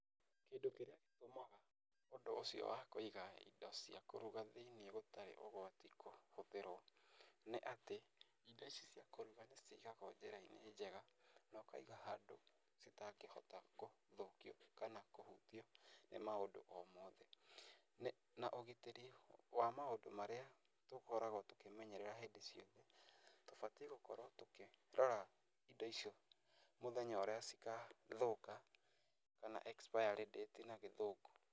Kĩndũ kĩrĩa gĩtũmaga ũndũ ũcio wa kũiga indo cĩa kũruga thĩ-inĩ gũtarĩ ũgwati kũhũthĩrwo nĩ atĩ, indo ici cia kũruga nĩ cigagwo njĩra-inĩ njega na ũkaiga handũ citangĩhota gũthũkio kana kũhutio nĩ maũndũ o mothe. Na ũgitĩri wa maũndũ marĩa tũkoragwo tũkĩmenyerera hĩndĩ ciothe, tũbatiĩ gũkorwo tũkĩrora indo icio mũthenya ũrĩa cikathũka kana expiry date na gĩthũngũ.